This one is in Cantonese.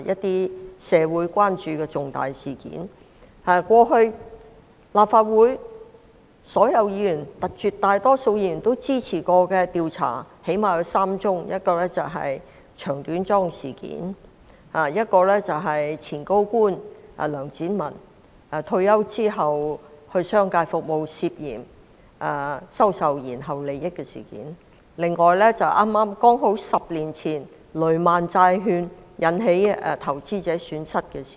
過往曾獲得立法會絕大多數議員支持的調查最少有3宗：其一是短樁事件；其二是前高官梁展文退休後到商界服務、涉嫌收受延後利益的事件；而其三是剛好10年前雷曼債券令投資者蒙受損失的事件。